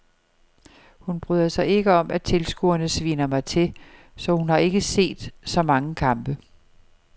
Hun bryder sig ikke om at tilskuerne sviner mig til, så hun har ikke set så mange kampe.